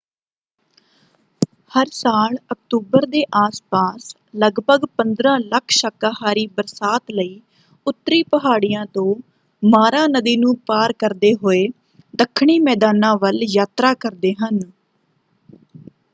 ਹਰ ਸਾਲ ਅਕਤੂਬਰ ਦੇ ਆਸ ਪਾਸ ਲਗਭਗ 15 ਲੱਖ ਸ਼ਾਕਾਹਾਰੀ ਬਰਸਾਤ ਲਈ ਉੱਤਰੀ ਪਹਾੜੀਆਂ ਤੋਂ ਮਾਰਾ ਨਦੀ ਨੂੰ ਪਾਰ ਕਰਦੇ ਹੋਏ ਦੱਖਣੀ ਮੈਦਾਨਾਂ ਵੱਲ ਯਾਤਰਾ ਕਰਦੇ ਹਨ।